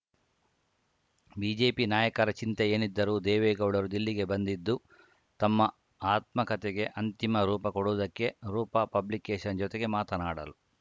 BJP ನಾಯಕರ ಚಿಂತೆ ಏನಿದ್ದರೂ ದೇವೇಗೌಡರು ದಿಲ್ಲಿಗೆ ಬಂದಿದ್ದು ತಮ್ಮ ಆತ್ಮಕತೆಗೆ ಅಂತಿಮ ರೂಪ ಕೊಡುವುದಕ್ಕೆ ರೂಪಾ ಪಬ್ಲಿಕೇಶನ್‌ ಜೊತೆಗೆ ಮಾತನಾಡಲು